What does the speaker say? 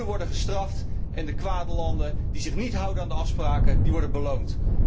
De goede landen worden gestraft, en de kwade landen die zich niet houden aan de afspraken, worden beloond.